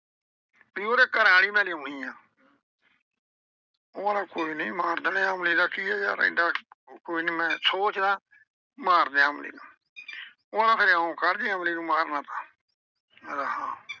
B ਉਹਦੇ ਘਰ ਆਲੀ ਮੈਂ ਲਿਆਉਣੀ ਆਂ ਉਹ ਆਂਹਦਾ ਕੋਈ ਨਈਂ ਮਾਰ ਦਿਨੇ ਆ। ਅਮਲੀ ਦਾ ਕੀ ਆ ਯਾਰ ਐਡਾ ਕੋਈ ਨੀ ਮੈਂ ਸੋਚਦਾ। ਮਾਰਦੇ ਆਂ ਅਮਲੀ ਨੂੰ ਉਹ ਆਂਹਦਾ ਫਿਰ ਇਉਂ ਕਰ ਜੇ ਅਮਲੀ ਨੂੰ ਮਾਰਨਾ ਤਾਂ ਕਹਿੰਦਾ ਹਾਂ,